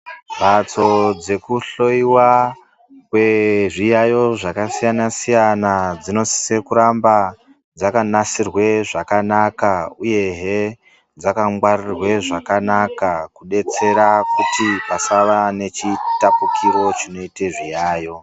Mbatso dzekuhloiwa kwezviyaiyo zvakasiyana-siyana, dzinosise kuramba dzakanasirwe zvakanaka, uyehe dzakangwarirwe zvakanaka ,kudetsera kuti pasava nechitapukiro chinoite zviyaiyo.